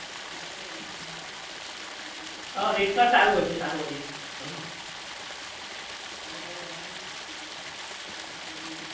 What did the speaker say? હા rate card સારું હોય છે સારું હોય છે